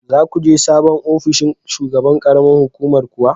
Za ku je sabon ofinshin shugaban ƙaramar hukumar kuwa?